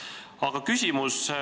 Aga mul on küsimus.